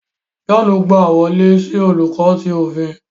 John gba wọle si Oluko ti ofin